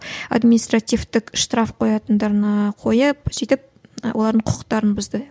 административтік штраф қоятындарына қойып сөйтіп і олардың құқықтарын бұзды